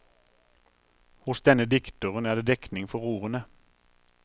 Hos denne dikteren er det dekning for ordene.